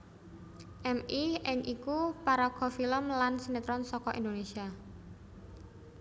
Mi Ing iku paraga film lan sinétron saka Indonésia